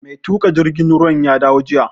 Mai tuƙa jirgin ruwan ya dawo jiya